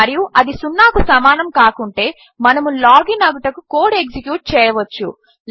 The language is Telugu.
మరియు అది సున్నాను సమానము కాకుంటే మనము లాగిన్ అగుటకు కోడ్ ఎక్సిక్యూట్ చేయవచ్చు